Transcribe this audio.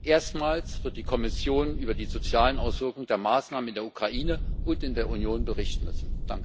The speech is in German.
Erstmals wird die Kommission über die sozialen Auswirkungen der Maßnahmen in der Ukraine und in der Union berichten müssen.